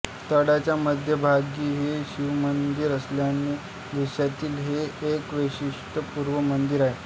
तळ्याच्या मध्यभागी हे शिवमंदिर असल्याने देशातील हे एक वैशिष्ट्यपूर्ण मंदिर आहे